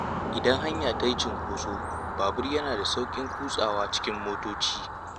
Idan hanya ta yi cunkoso, babur yana da sauƙin kutsawa cikin motoci.